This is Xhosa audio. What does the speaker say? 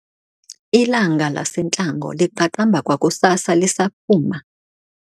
Ilanga lasentlango liqaqamba kwakusasa lisaphuma.